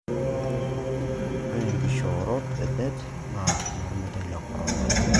Ore enkishoorot edet na normeitai le Corona